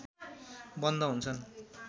बन्द हुन्छन्